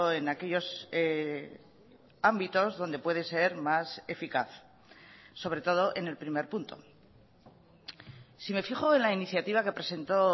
en aquellos ámbitos donde puede ser más eficaz sobre todo en el primer punto si me fijo en la iniciativa que presentó